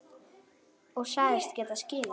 Og sagðist geta skilið það.